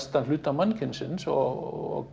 hluta mannkynsins og